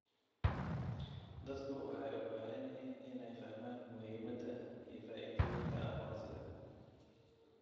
Dadku waxay u baahan yihiin inay fahmaan muhiimadda iyo faa'iidooyinka aqoonsiga.